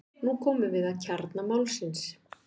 Nú komum við að kjarna málsins.